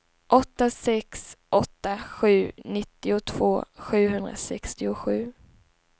åtta sex åtta sju nittiotvå sjuhundrasextiosju